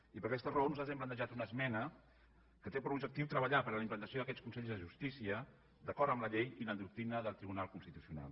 i per aquesta raó nosaltres hem plantejat una esmena que té per objectiu treballar per la implantació d’aquests consells de justícia d’acord amb la llei i la doctrina del tribunal constitucional